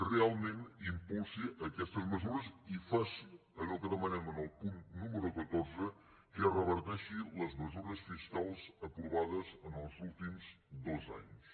realment impulsi aquestes mesures i faci allò que demanem en el punt número catorze que es reverteixin les mesures fiscals aprovades els últims dos anys